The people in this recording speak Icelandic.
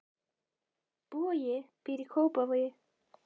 Bogi býr í Kópavogi.